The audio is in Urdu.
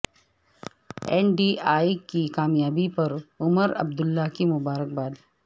این ڈی اے کی کامیابی پر عمر عبداللہ کی مبارکباد